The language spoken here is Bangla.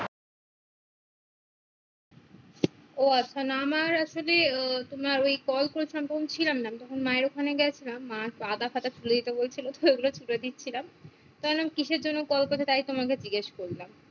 ও আচ্ছা না আমার আসলে আহ তোমার ওই call করছিলো তখন আমি ছিলাম না তখন মায়ের ওখানে গেছিলাম, মা আগাছা টা তুলে দিতে বলছিলো তো ও গুলো তুলে দিছিলাম। তো আমি বললাম কিসের জন্য call করছে তাই তোমাকে জিজ্ঞাস করলাম।